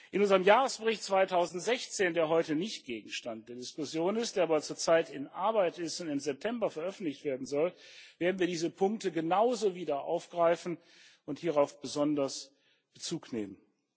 In unserem Jahresbericht 2016, der heute nicht Gegenstand der Diskussion ist, der aber zurzeit in Arbeit ist und im September veröffentlicht werden soll, werden wir diese Punkte genauso wieder aufgreifen und hierauf besonders Bezug nehmen.